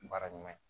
Baara ɲuman ye